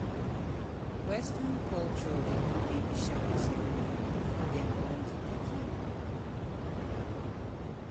Western culture dey do baby shower ceremony before dem born di pikin